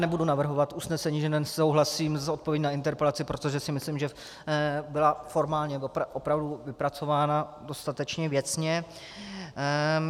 Nebudu navrhovat usnesení, že nesouhlasím s odpovědí na interpelaci, protože si myslím, že byla formálně opravdu vypracována dostatečně věcně.